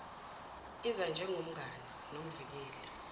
iza njengomngani nomvikeli